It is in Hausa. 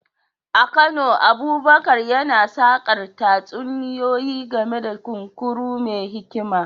A Kano, Abubakar yana sakar tatsuniyoyi game da kunkuru mai hikima.